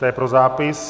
To je pro zápis.